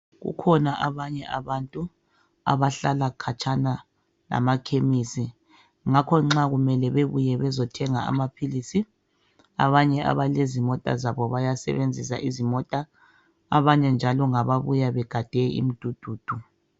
Kukhona abanye abantu abahlala khatshana lamakhemisi ngakho nxa kumele bebuye bezothenga amaphilisi, abanye abalezimota zabo bayasebenzisa izimota. Abanye njalo ngababuya begade imidududu.